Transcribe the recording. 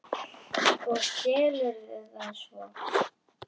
Og selurðu það svo?